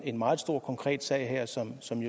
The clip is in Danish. en meget stor konkret sag her som sådan